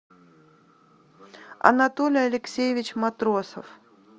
анатолий алексеевич матросов